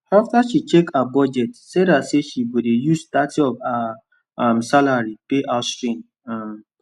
after she check her budget sarah say she go dey use thirty of her um salary pay house rent um